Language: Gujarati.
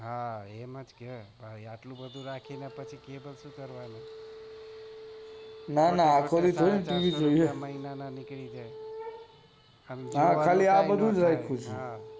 હા એમજ છે આટલું બધું રાખી ને પછી cable શું કરવાનું ના ના આખો દિવસ થોડી tv જોયે કેટલા પૈસા મહિના ના નીકળી જાય